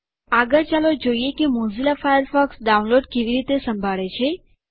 આગળ ચાલો જોઈએ કે મોઝીલા ફાયરફોક્સ ડાઉનલોડ કેવી રીતે સંભાળે છે